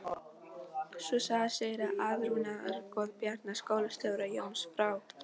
Sú saga segir að átrúnaðargoð Bjarna skólastjóra, Jónas frá